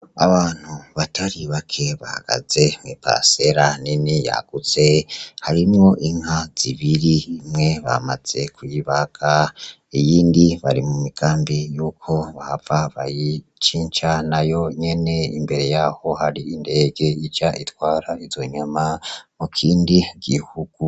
Abantu batari bake bahagaze mwiparacera nini yagutse harimwo inka zibiri imwe bamaze kuyibaga iyindi bari mu migambi yuko bahava bayicinca nayo nyene imbere yaho hari indege ija itwara izo nyama mu kindi gihugu.